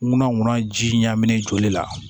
Ŋunanŋunan ji ɲa minɛ joli la